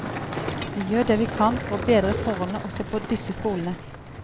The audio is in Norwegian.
Vi gjør det vi kan for å bedre forholdene også på disse skolene.